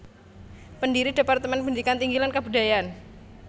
Pendiri Departemen Pendidikan Tinggi lan Kabudayan